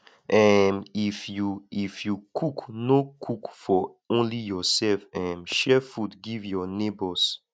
um if you if you cook no cook for only yourself um share food give your neighbours